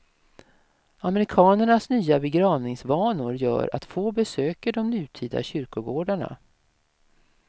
Amerikanernas nya begravningsvanor gör att få besöker de nutida kyrkogårdarna.